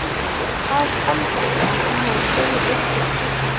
OG HVAÐ HALDIÐI AÐ HANN HAFI DREGIÐ UPP ÚR ÞVÍ?